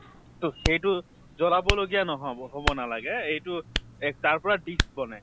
তʼ সেইটো জ্বলাব লগীয়া নহʼব, হʼব নালাগে । এইটো তাৰ পৰা দিস বনাই ।